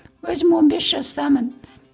өзім он бес жастамын